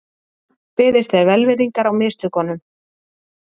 Beðist er velvirðingar á mistökunum